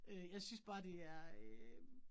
Øh jeg synes bare det er øh